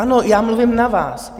Ano, já mluvím na vás.